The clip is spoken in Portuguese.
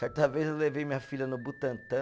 Certa vez eu levei minha filha no Butantã.